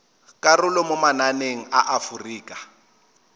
karolo mo mananeng a aforika